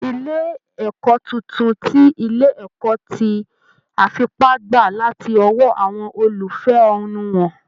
Ilé ìkọ́ tuntun ti ilé ẹ̀kọ́ ti àfipá gbà láti ọwọ́ àwọn olùfẹ́hónúhàn